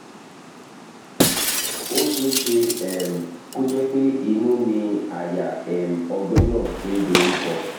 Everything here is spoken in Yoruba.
ó ṣe é ṣe um kó jẹ́ pé inú ni àyà um ọgbẹ́ náà ti ń doríkọ